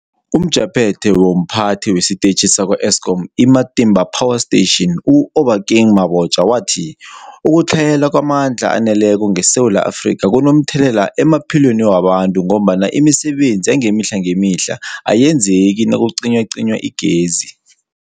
UmJaphethe womPhathi wesiTetjhi sakwa-Eskom i-Matimba Power Station u-Obakeng Mabotja wathi ukutlhayela kwamandla aneleko ngeSewula Afrika kunomthelela emaphilweni wabantu ngombana imisebenzi yangemihla ayenzeki nakucinywacinywa igezi.